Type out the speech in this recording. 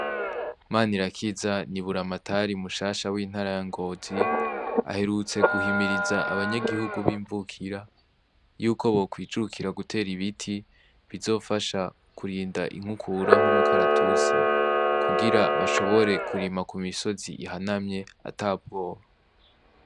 Mana irakiza niburamatari umushasha w'intara yangozi aherutse guhimiriza abanyagihugu b'imvukira yuko bokwicukira gutera ibiti bizofasha kurinda inkukura nk'umukaratutsi kugira bashobore kurima ku misozi ihanamye ata bwoba.